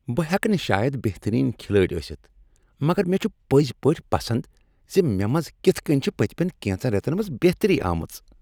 بہٕ ہیٚکہٕ نہٕ شاید بہترین کھلٲڑۍ ٲستھ مگر مےٚ چھ پٔزۍ پٲٹھۍ پسند ز مےٚ منز کتھ کٔنۍ چھ پٔتمین کینژن ریتن منز بہتری آمٕژ۔